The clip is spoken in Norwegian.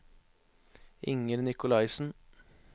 Inger Nikolaisen